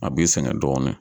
A b'i sɛgɛn dɔɔnin